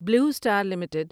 blue star limited